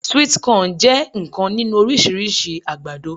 Sweet corn je nnkan ninu orisirisi agbado